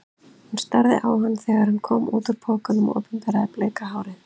Hún starði á hann þegar hann kom út úr pokanum og opinberaði bleika hárið.